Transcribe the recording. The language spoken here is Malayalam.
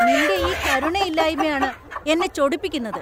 നിൻ്റെ ഈ കരുണയില്ലായ്മയാണ് എന്നെ ചൊടിപ്പിക്കുന്നത്.